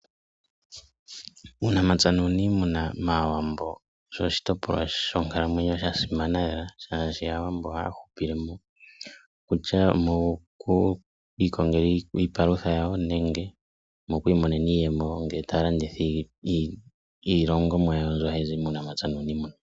Uunamapya nuuniimuna mAawambo, osho oshitopolwa shonkalamwenyo sha simana lela, molwashoka Aawambo ohaya hupile moka ,kutya okwiikongela iipalutha yawo nenge okwiimonena iiyemo uuna taya landitha iilongomwa yawo mbyoka hayi zi muunamapya nuuniimuna.